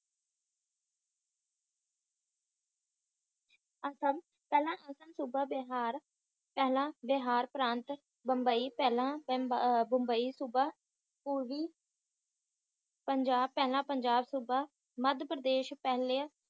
ਅਸਮ ਪਹਿਲਾ ਅਸਮ ਸੂਬਾ ਬਿਹਾਰ ਪਹਿਲਾ ਬਿਹਾਰ ਪ੍ਰਾਂਤ ਬੰਬਈ ਪਹਿਲਾਂ ਬੰਬਈ ਸੁਭਾ ਪੁਰਵੀ ਪੰਜਾਬ ਪਹਿਲਾਂ ਪੰਜਾਬ ਸੂਬਾ ਮਾਦ ਪ੍ਰਦੇਸ਼ ਪਹਿਲਾਂ